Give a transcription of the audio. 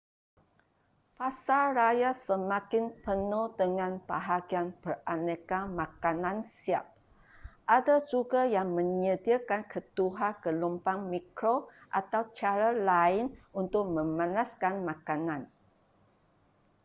pasaraya semakin penuh dengan bahagian beraneka makanan siap ada juga yang menyediakan ketuhar gelombang mikro atau cara lain untuk memanaskan makanan